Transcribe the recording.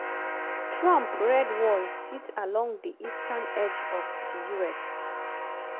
trump "red wall" sit along di eastern edge of di us.